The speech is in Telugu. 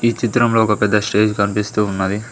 ఈ చిత్రంలో ఒక పెద్ద స్టేజ్ కనిపిస్తూ ఉన్నది.